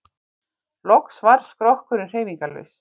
Loks varð skrokkurinn hreyfingarlaus.